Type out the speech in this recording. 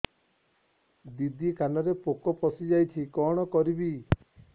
ଦିଦି କାନରେ ପୋକ ପଶିଯାଇଛି କଣ କରିଵି